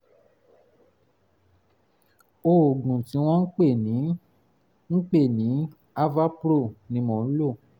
oògùn tí wọ́n ń pè ní ń pè ní avapro ni mò ń lò